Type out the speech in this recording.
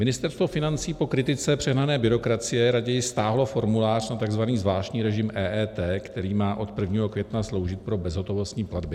Ministerstvo financí po kritice přehnané byrokracie raději stáhlo formulář na tzv. zvláštní režim EET, který má od 1. května sloužit pro bezhotovostní platby.